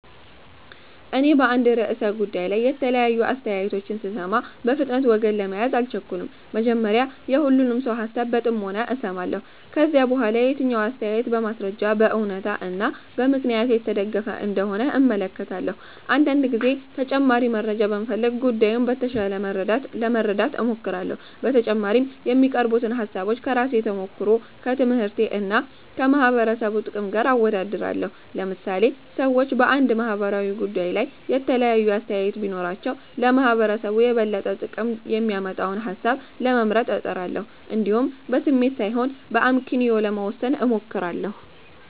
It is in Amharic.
እኔ በአንድ ርዕሰ ጉዳይ ላይ የተለያዩ አስተያየቶችን ስሰማ፣ በፍጥነት ወገን ለመያዝ አልቸኩልም። መጀመሪያ የሁሉንም ሰው ሃሳብ በጥሞና እሰማለሁ። ከዚያ በኋላ የትኛው አስተያየት በማስረጃ፣ በእውነታ እና በምክንያት የተደገፈ እንደሆነ እመለከታለሁ። አንዳንድ ጊዜም ተጨማሪ መረጃ በመፈለግ ጉዳዩን በተሻለ ለመረዳት እሞክራለሁ። በተጨማሪም የሚቀርቡትን ሃሳቦች ከራሴ ተሞክሮ፣ ከትምህርቴ እና ከማህበረሰቡ ጥቅም ጋር አወዳድራለሁ። ለምሳሌ ሰዎች በአንድ ማህበራዊ ጉዳይ ላይ የተለያየ አስተያየት ቢኖራቸው፣ ለማህበረሰቡ የበለጠ ጥቅም የሚያመጣውን ሃሳብ ለመምረጥ እጥራለሁ። እንዲሁም በስሜት ሳይሆን በአመክንዮ ለመወሰን እሞክራለሁ።